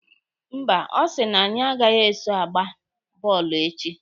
Mba, ọ sị na anyị agaghị eso agba bọọlụ echi.